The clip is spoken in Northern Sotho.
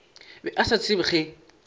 be a sa tsebe ge